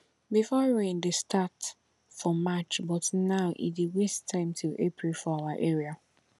before rain dey start for march but now e dey waste time till april for our area